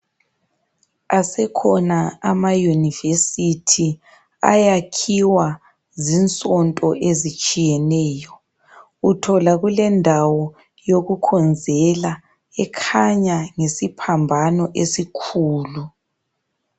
Asekhona ama university ayakhiwa zinsonto ezitshiyeneyo. Uthola kulendawo yokukhonzela ekhanya ngesiphambano esikhulu.